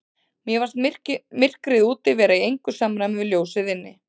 Mér fannst myrkrið úti vera í engu samræmi við ljósið inni.